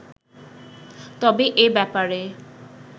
তবে এ ব্যাপারে